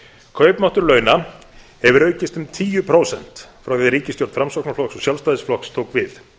kaupmáttur launa hefur aukist um tíu prósent frá því ríkisstjórn framsóknarflokks og sjálfstæðisflokks tók við